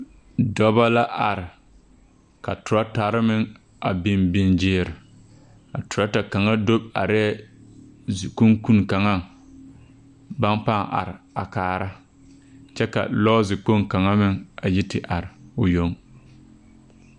Dɔba la are ka teratare meŋ a biŋ biŋ gyeere a teraata kaŋa do arɛɛ zikunkuni kaŋaŋ baŋ pãâ are a kaara kyɛ ka lɔɔzekpoŋ kaŋa meŋ a yi te are o yoŋ.